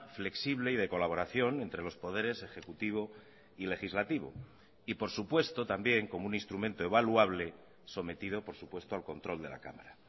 flexible y de colaboración entre los poderes ejecutivo y legislativo y por supuesto también como un instrumento evaluable sometido por supuesto al control de la cámara